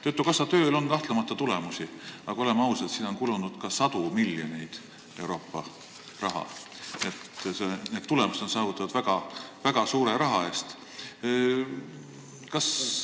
Töötukassa tööl on kahtlemata tulemusi, aga oleme ausad, sinna on kulunud ka sadu miljoneid Euroopa raha, nii et need tulemused on saavutatud väga suure summa abil.